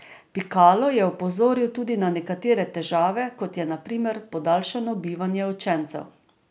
Pikalo je opozoril tudi na nekatere težave, kot je na primer podaljšano bivanje učencev.